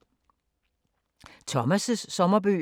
Thomas’ sommerbøger